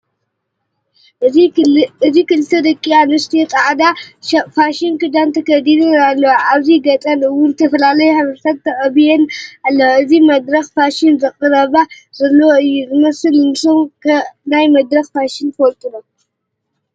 እዚ ክልተ ደቂ ኣንስትዮ ፃዕዳ ፋሽን ክዳን ተከዲነን ኣለዋ። ኣብ ገፀን እውን ዝተፈላለዩ ሕብርታት ተቀቢአን ኣለዋ። እዚ መድረክ ፍሽን ዘቅርባ ዘለዋ እዩ ዝመስል። ንሶም ከ ናይ መድረክ ፋሽን ትፈልጡ ዶ?